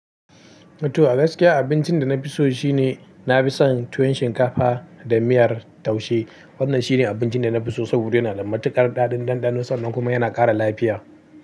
Wato, a gaskiya abincin da na fi so shine na fi son tuwon shinkafa da miyar taushe. Wannan shine abincin da na fi so saboda yana da matukar ɗaɗin ɗanɗano sannan kuma yana ƙara lafiya.